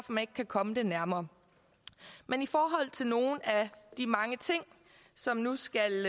man ikke kan komme det nærmere men i forhold til nogle af de mange ting som nu skal